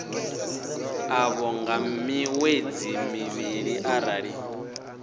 ḽavho nga miṅwedzi mivhili arali